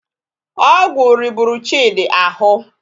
Ọgwụ riburu Chidi ahụ